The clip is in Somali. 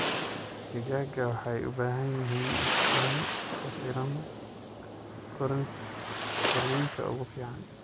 Digaagga waxay u baahan yihiin iftiin ku filan korriinka ugu fiican.